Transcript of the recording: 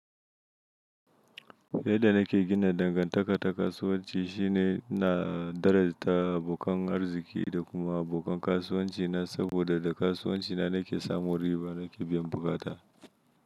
Yanda nake gina dangantaka ta kasuwanci shine na darajta abokan arziki da kuma abokan kasuwanci na. Saboda da kasuwanci na nake samun riba nake biyan bukata.